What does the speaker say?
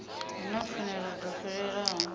hu na pfanelo dzo fhelelaho